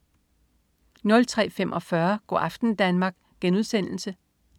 03.45 Go' aften Danmark*